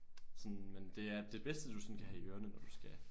Sådan men det er det bedste du sådan kan have i ørerne når du skal